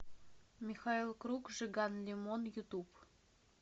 михаил круг жиган лимон ютуб